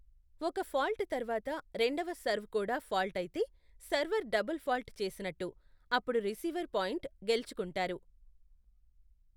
ఒక ఫాల్ట్ తర్వాత, రెండవ సర్వ్ కూడా ఫాల్ట్ అయితే, సర్వర్ డబుల్ ఫాల్ట్ చేసినట్టు, అప్పుడు రిసీవర్ పాయింట్ గెలుచుకుంటారు.